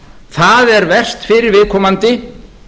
það er verst fyrir viðkomandi